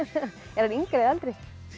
er hann yngri eða eldri